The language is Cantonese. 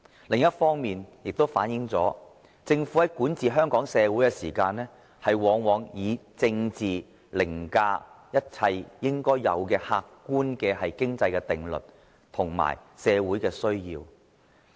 另一方面，這亦反映了政府對香港社會管治中，往往以政治凌駕一切應該有的客觀經濟定律及社會需要。